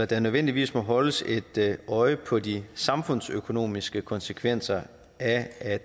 der nødvendigvis må holdes et øje på de samfundsøkonomiske konsekvenser af at